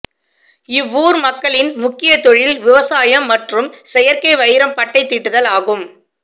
இவ்வூர் மக்களின் முக்கிய தொழில் விவசாயம் மற்றும் செயற்கை வைரம் பட்டை தீட்டுதல் ஆகும்